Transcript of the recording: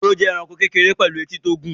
Ehoro jẹ́ ẹranko kékeré pẹ̀lú etí tó gùn